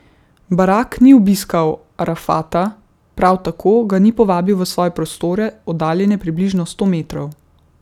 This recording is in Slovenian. Barak ni obiskal Arafata, prav tako ga ni povabil v svoje prostore, oddaljene približno sto metrov.